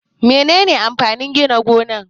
Menene amfanin Gidan gona?